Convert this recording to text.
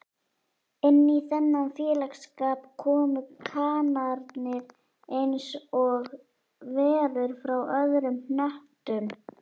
Inní þennan félagsskap komu kanarnir einsog verur frá öðrum hnöttum